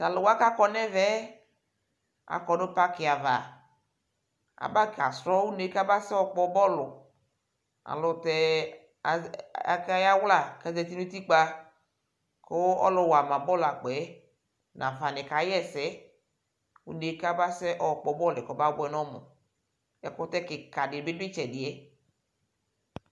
Tʋ alʋ wanɩ kʋ akɔ nʋ ɛvɛ yɛ, akɔ nʋ pakɩ ava Abakasrɔ une yɛ kʋ abasɛ yɔkpɔ bɔlʋ Alʋ tɛ azɛ akayawla kʋ azati nʋ utikpǝ kʋ ɔlʋwa ma bɔlʋakpɔ yɛ nafanɩ kaɣa ɛsɛ une yɛ kʋ abasɛ yɔkpɔ bɔlʋ yɛ kɔmabʋɛ nʋ ɔmʋ Ɛkʋtɛ kɩka dɩ bɩ dʋ ɩtsɛdɩ yɛ